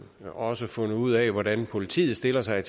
også fundet ud af hvordan politiet stiller sig